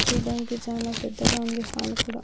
చూడడానికి చాలా పెద్దగా ఉంది హాలు కూడా.